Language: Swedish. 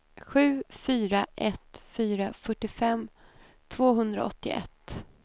sju fyra ett fyra fyrtiofem tvåhundraåttioett